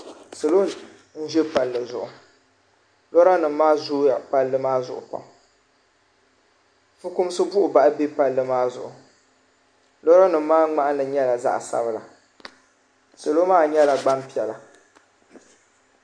salo n-ʒe palli zuɣu lɔra nima maa zooi ya palli maa zuɣu pam fukumsi buɣibahi be palli maa zuɣu lɔra nima maa ŋmahili nyɛla zaɣ' sabila salo maa nyɛla gbaŋ' piɛla.